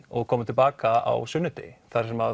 og koma til baka á sunnudegi þar sem